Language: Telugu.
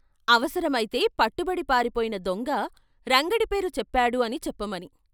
అవసరమైతే పట్టుబడి పారిపోయిన దొంగ, రంగడి పేరు చెప్పాడు అని చెప్పమని.